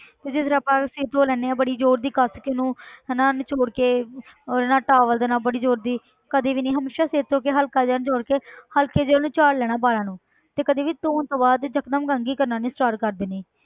ਤੇ ਜਿਸ ਤਰ੍ਹਾਂ ਆਪਾਂ ਸਿਰ ਧੋ ਲੈਂਦੇ ਹਾਂ ਬੜੀ ਜ਼ੋਰ ਦੀ ਕਸ ਕੇ ਉਹਨੂੰ ਹਨਾ ਨਚੌੜ ਕੇ ਉਹਦਾ ਨਾਲ towel ਦੇ ਨਾਲ ਬੜੀ ਜ਼ੋਰ ਦੀ ਕਦੇ ਵੀ ਨੀ ਹਮੇਸ਼ਾ ਸਿਰ ਧੋ ਕੇ ਹਲਕਾ ਜਿਹਾ ਨਚੌੜ ਕੇ ਹਲਕੇ ਜਿਹੇ ਉਹਨੂੰ ਝਾੜ ਲੈਣਾ ਵਾਲਾਂ ਨੂੰ ਤੇ ਕਦੇ ਵੀ ਧੋਣ ਤੋਂ ਬਾਅਦ ਤੇ ਇੱਕਦਮ ਕੰਘੀ ਕਰਨਾ ਨੀ start ਕਰ ਦੇਣੀ।